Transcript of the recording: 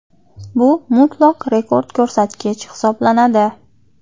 Bu mutlaq rekord ko‘rsatkich hisoblanadi.